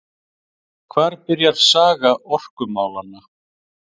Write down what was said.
Hvar byrjar saga orkumálanna?